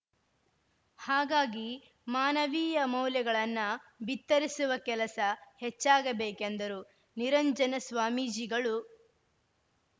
ಹಾಗಾಗಿ ಮಾನವೀಯ ಮೌಲ್ಯಗಳನ್ನ ಭಿತ್ತರಿಸುವ ಕೆಲಸ ಹೆಚ್ಚಾಗಬೇಕೆಂದರು ನಿರಂಜನ ಸ್ವಾಮಿಜೀಗಳು